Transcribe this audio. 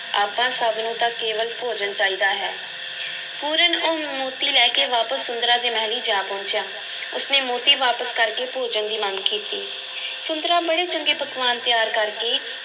ਆਪਾਂ ਸਭ ਨੂੰ ਤਾਂ ਕੇਵਲ ਭੋਜਨ ਚਾਹੀਦਾ ਹੈ, ਪੂਰਨ ਉਹ ਮੋਤੀ ਲੈ ਕੇ ਵਾਪਸ ਸੁੰਦਰਾਂ ਦੇ ਮਹਿਲੀਂ ਜਾ ਪਹੁੰਚਿਆ, ਉਸ ਨੇ ਮੋਤੀ ਵਾਪਸ ਕਰ ਕੇ ਭੋਜਨ ਦੀ ਮੰਗ ਕੀਤੀ, ਸੁੰਦਰਾਂ ਬੜੇ ਚੰਗੇ ਪਕਵਾਨ ਤਿਆਰ ਕਰਕੇ